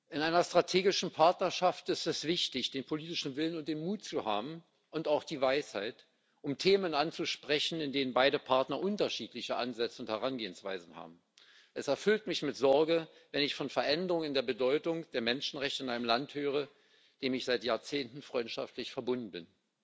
In einer strategischen Partnerschaft ist es wichtig, den politischen Willen und den Mut zu haben, und auch die Weisheit, um Themen anzusprechen, in denen beide Partner unterschiedliche Ansätze und Herangehensweisen haben. Es erfüllt mich mit Sorge, wenn ich von Veränderungen in der Bedeutung der Menschenrechte in einem Land höre, dem ich seit Jahrzehnten freundschaftlich verbunden bin.